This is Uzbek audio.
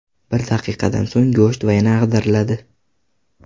Bir daqiqadan so‘ng go‘sht yana ag‘dariladi.